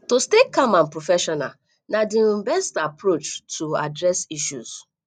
to stay calm and professional na di um best approach to address issue